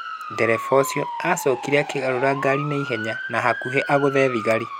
Ndereba ũcio aacokire akĩgarũra ngari na ihenya na hakuhĩ agũthe thigari.